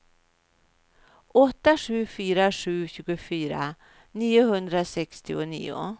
åtta sju fyra sju tjugofyra niohundrasextionio